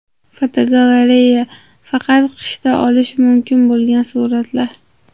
Fotogalereya: Faqat qishda olish mumkin bo‘lgan suratlar.